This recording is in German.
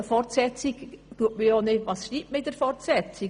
Doch was schreibt man in einer Fortsetzung?